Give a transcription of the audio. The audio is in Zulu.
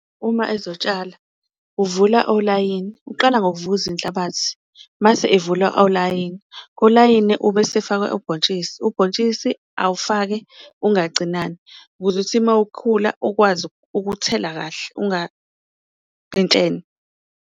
Uma ezotshala uvula olayini, uqala ngokuvukuza inhlabathi mase evula olayini kolayini ubesefaka ubhontshisi, ubhontshisi awufake ungacinani ukuze ukuthi uma ukhula ukwazi ukuthela kahle .